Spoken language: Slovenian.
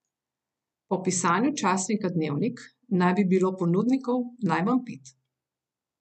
Po pisanju časnika Dnevnik naj bi bilo ponudnikov najmanj pet.